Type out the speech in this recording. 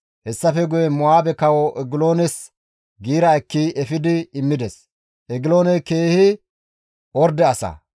Hessafe guye Mo7aabe kawo Egiloones giira ekki efidi immides; Egilooney keehi orde asa.